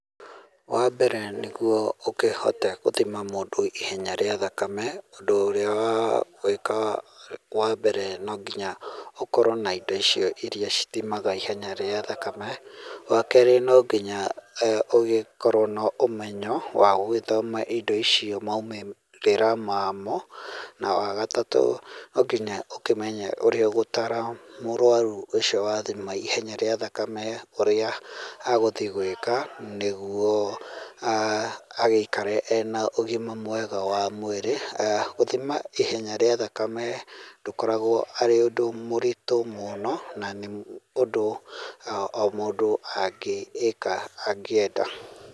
Wa mbere nĩguo ũkĩhote gũthima mũndũ ihenya rĩa thakame, ũndũ ũrĩa ũgwĩka wa mbere no nginya ũkorwo na indo icio iria ithimaga ihenya rĩa thakame, wa kerĩ no nginya eeh ũgĩkorwo na ũmenyo wa gũgĩthoma indo icio maumĩrĩra mamo na wagatatũ no nginya ũkĩmenye ũrĩa ũgũtaara mũrwaru ũcio wa thima ihenya rĩa thakame ũrĩa egũthiĩ gwĩka nĩ guo agĩikare ena ũgima mwega wa mwĩrĩ eeh gũthima ihenya rĩa thakame ndũkoragwo arĩ ũndũ mũritũ mũno na ũndũ o mũndũ angĩkeka angĩenda.